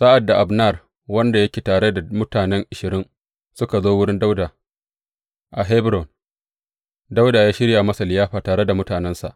Sa’ad da Abner wanda yake tare da mutane ashirin suka zo wurin Dawuda a Hebron, Dawuda ya shirya masa liyafa tare da mutanensa.